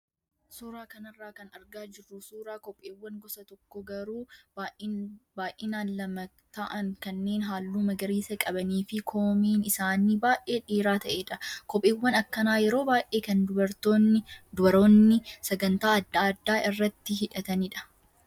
Suuraa kanarraa kan argaa jirru suuraa kopheewwan gosa tokko garuu baay'inaan lama ta'an kanneen halluu magariisa qabanii fi koomeen isaanii baay'ee dheeraa ta'edha. Kopheewwan akkanaa yeroo baay'ee kan dubaroonni sagantaa adda addaa irratti hidhatanidha.